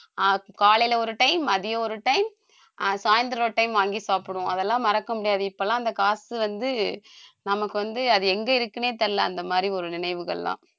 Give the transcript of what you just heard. ஆஹ் காலையில ஒரு time மதியம் ஒரு time ஆஹ் சாய்ந்தரம் ஒரு time வாங்கி சாப்பிடுவோம் அதெல்லாம் மறக்க முடியாது இப்பெல்லாம் அந்த காசு வந்து நமக்கு வந்து அது எங்க இருக்குன்னே தெரியலே அந்த மாதிரி ஒரு நினைவுகள் எல்லாம்